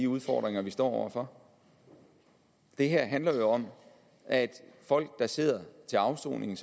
udfordringer vi står over for det her handler jo om at folk der sidder til afsoning